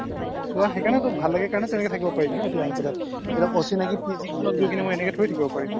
চোৱা সেইকাৰণেটো ভালে লাগে কাৰণে তেনেকে থাকিব পাৰিছো ন ইয়াতে আহি পেলাই এতিয়া অচিনাকি PG এখনত গৈ কিনে মই এনেকে thori থাকিব পাৰিম